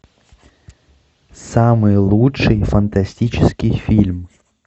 самый лучший фантастический фильм